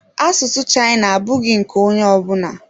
China language is not for everybody.